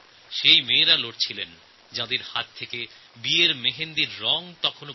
সেইসব মেয়েরা লড়াই করেছিলেন যাঁদের হাত থেকে তখনও নতুন বিবাহের মেহেন্দি মুছে যায় নি